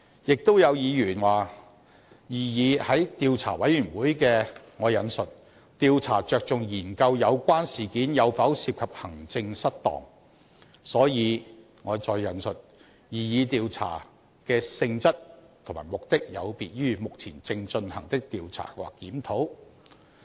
亦有議員說，擬議的專責委員會的"調查着重研究有關事件有否涉及行政失當"，所以"擬議調查的性質及目的有別於目前正進行的調查或檢討"。